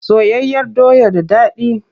Soyayyar doya da dadi.